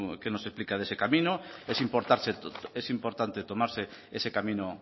qué nos explica de ese camino es importante tomarse ese camino